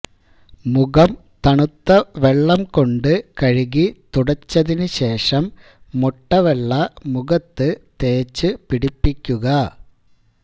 മുഖം തണുത്ത വെള്ളം കൊണ്ട് കഴുകി തുടച്ചതിന് ശേഷം മുട്ടവെള്ള മുഖത്ത് തേച്ചുപിടിപ്പിക്കുക